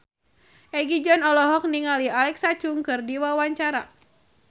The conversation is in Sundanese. Egi John olohok ningali Alexa Chung keur diwawancara